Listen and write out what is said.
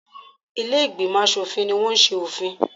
Ilé-ìgbìmọ̀ aṣòfin ní wọ́n ṣe òfin.